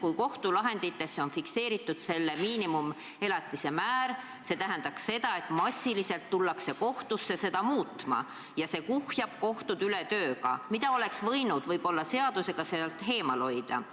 kui kohtulahendites on praegu fikseeritud miinimumelatise määr, siis see tähendab seda, et massiliselt tullakse kohtusse seda muutma ja see kuhjab kohtud üle tööga, mida oleks võimalik seadusega sealt eemal hoida.